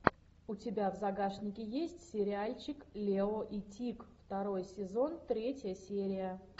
у тебя в загашнике есть сериальчик лео и тиг второй сезон третья серия